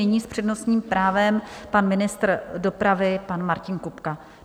Nyní s přednostním právem pan ministr dopravy pan Martin Kupka.